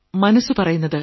മനസ്സു പറയുന്നത്